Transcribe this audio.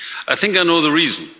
I think I know the reason.